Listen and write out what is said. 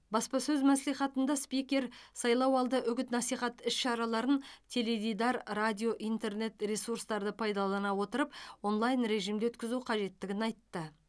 баспасөз мәслихатында спикер сайлауалды үгіт насихат іс шараларын теледидар радио интернет ресурстарды пайдалана отырып онлайн режимде өткізу қажеттігін айтты